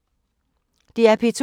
DR P2